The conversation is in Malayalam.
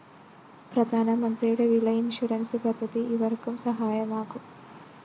പ്രധാനമന്ത്രിയുടെ വിള ഇൻഷുറൻസ്‌ പദ്ധതി ഇവര്‍ക്കും സഹായകമാകും